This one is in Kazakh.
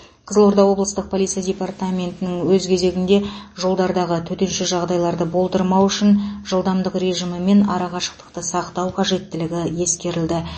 қызылорда облыстық полиция департаментін өз кезегінде жолдардағы төтенше жағдайларды болдырмау үшін жылдамдық режимі мен ара қашықтықты сақтау қажеттігін ескерілді